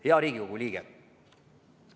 Hea Riigikogu liige!